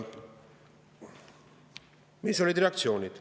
Mis olid reaktsioonid?